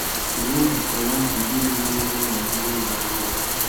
Gụọ ma kọwaa udi omume ọma a na-ahụ n'ụlọ akwụkwọ.